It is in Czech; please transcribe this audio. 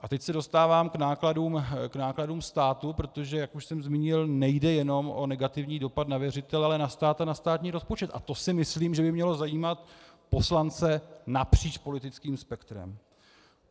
A teď se dostávám k nákladům státu, protože - jak už jsem zmínil - nejde jenom o negativní dopad na věřitele, ale na stát a na státní rozpočet, a to si myslím, že by mělo zajímat poslance napříč politickým spektrem.